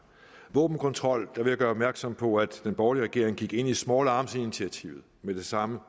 våbenkontrol vil jeg gøre opmærksom på at den borgerlige regering gik ind i small arms initiativet med det samme